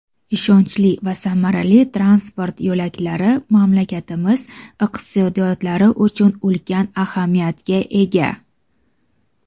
Ishonchli va samarali transport yo‘laklari mamlakatlarimiz iqtisodiyotlari uchun ulkan ahamiyatga ega.